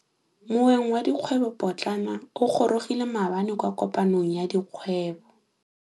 Moêng wa dikgwêbô pôtlana o gorogile maabane kwa kopanong ya dikgwêbô.